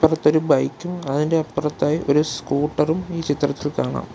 അടുത്തൊരു ബൈക്കും അതിൻ്റെ അപ്പുറത്തായി ഒരു സ്കൂട്ടറും ഈ ചിത്രത്തിൽ കാണാം .